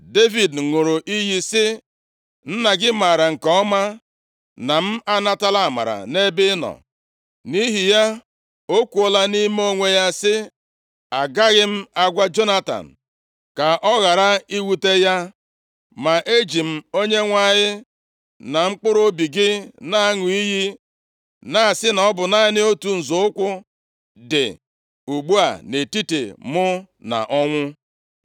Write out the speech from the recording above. Devid ṅụrụ iyi sị, “Nna gị maara nke ọma na m anatala amara nʼebe ị nọ, nʼihi ya, o kwuola nʼime onwe ya sị, ‘Agaghị m agwa Jonatan, ka ọ ghara iwute ya.’ Ma eji m Onyenwe anyị na mkpụrụobi gị na-aṅụ iyi na-asị na ọ bụ naanị otu nzọ ụkwụ dị ugbu a nʼetiti mụ na ọnwụ.”